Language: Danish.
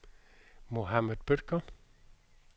Mohamed Bødker